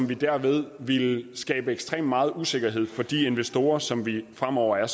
vi derved ville skabe ekstremt meget usikkerhed for de investorer som vi fremover er